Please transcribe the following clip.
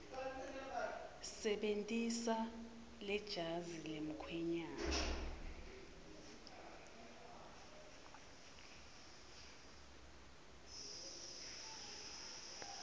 sebentisa lejazi lemkhwenyane